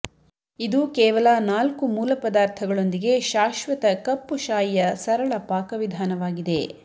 ಇದು ಕೇವಲ ನಾಲ್ಕು ಮೂಲ ಪದಾರ್ಥಗಳೊಂದಿಗೆ ಶಾಶ್ವತ ಕಪ್ಪು ಶಾಯಿಯ ಸರಳ ಪಾಕವಿಧಾನವಾಗಿದೆ